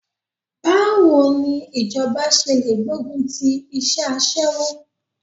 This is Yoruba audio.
Báwo ni ìjọba ṣe lè gbógun ti iṣẹ́ aṣẹ́wó?